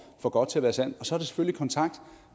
for godt til at være sandt og så at tage kontakt